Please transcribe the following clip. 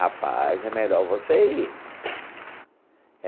Rapaz, é melhor você ir.